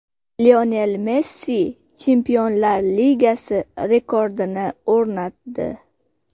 Lionel Messi Chempionlar Ligasi rekordini o‘rnatdi.